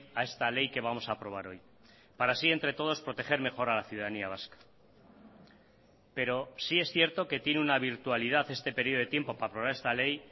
a esta ley que vamos a aprobar hoy para así entre todos proteger mejor a la ciudadanía vasca pero sí es cierto que tiene una virtualidad este período de tiempo para aprobar esta ley